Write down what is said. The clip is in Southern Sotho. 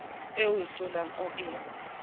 eo o hlolang o e